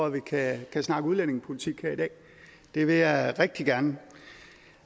at vi kan snakke udlændingepolitik her i dag det vil jeg rigtig gerne